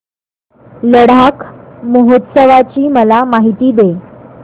लडाख महोत्सवाची मला माहिती दे